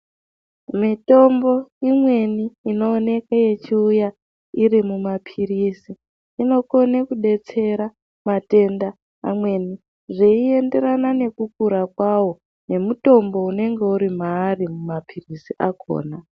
Mitombo imweni inooneke ichiuya iri mumaphirizi, inokone kubetsera vatenda amweni. Zviienderana nekukura kwavo nemutombo unenge uri maari mumaphirizi akona.